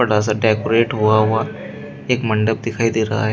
थोड़ा सा डेकोरेट हुआ हुआ एक मंडप दिखाई दे रहा है।